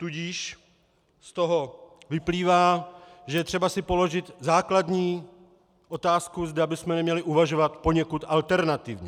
Tudíž z toho vyplývá, že je třeba si položit základní otázku, zda bychom neměli uvažovat poněkud alternativně.